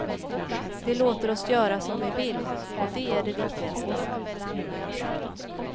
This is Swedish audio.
De låter oss göra som vi vill, och det är det viktigaste.